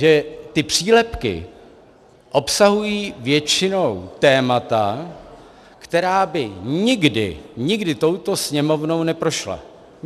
Že ty přílepky obsahují většinou témata, která by nikdy, nikdy touto Sněmovnou neprošla.